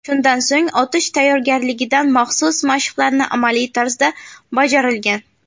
Shundan so‘ng otish tayyorgarligidan maxsus mashqlarni amaliy tarzda bajarilgan.